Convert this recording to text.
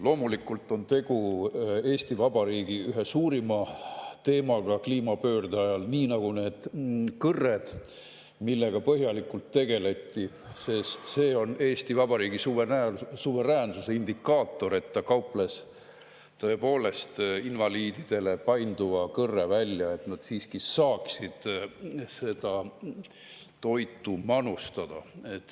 Loomulikult on tegu Eesti Vabariigi ühe suurima teemaga kliimapöörde ajal, nii nagu ka need kõrred, millega põhjalikult tegeleti, sest see on Eesti Vabariigi suveräänsuse indikaator, et ta kauples tõepoolest invaliididele painduva kõrre välja, et nad saaksid toitu manustada.